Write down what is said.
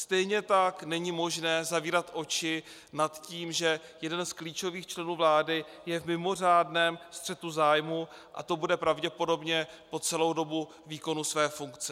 Stejně tak není možné zavírat oči nad tím, že jeden z klíčových členů vlády je v mimořádném střetu zájmů, a to bude pravděpodobně po celou dobu výkonu své funkce.